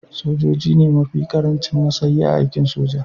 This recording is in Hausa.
Sojoji su ne mafi karancin matsayi a aikin soja